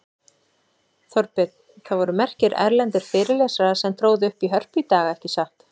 Þorbjörn, það voru merkir erlendir fyrirlesarar sem tróðu upp í Hörpu í dag, ekki satt?